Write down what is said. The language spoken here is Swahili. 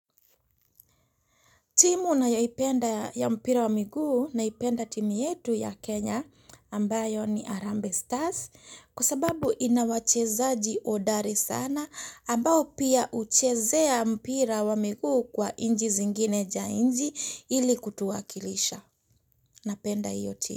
Timu nayoipenda ya mpira wa miguu naipenda timu yetu ya Kenya ambayo ni Arambe Stars kwa sababu ina wachezaji odari sana ambao pia uchezea mpira wa miguu kwa inji zingine ja inji ili kutuwakilisha. Napenda iyo timu.